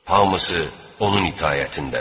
Hamısı onun itaətindədir.